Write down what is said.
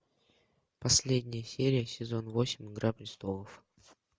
последняя серия сезон восемь игра престолов